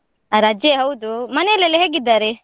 ರಜೆ ಹೌದು, ಮನೇಲೆಲ್ಲ ಹೇಗಿದ್ದಾರೆ?